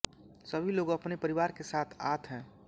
सभी लोग अपने परिवार के साथ आत है